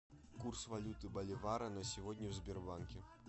курс валюты боливара на сегодня в сбербанке